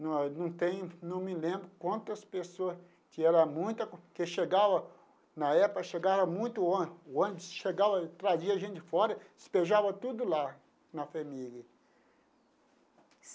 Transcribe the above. não não tenho não me lembro quantas pessoas, que era muita, que chegava, na época chegava muito ônibus, o ônibus chegava, trazia gente de fora, despejava tudo lá na FHEMIG.